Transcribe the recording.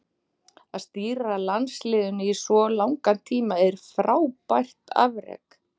Að stýra landsliðinu í svo langan tíma er frábært afrek.